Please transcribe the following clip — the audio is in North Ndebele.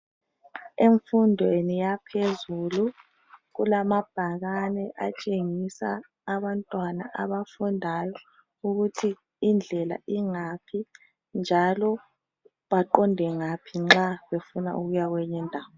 Emfundweni yaphezulu kulamabhakani atshengisa abantwana abafundayo ukuthi indlela ingaphi njalo baqonde ngaphi nxa befuna ukuyakwenye indawo